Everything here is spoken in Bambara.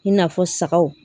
I n'a fɔ sagaw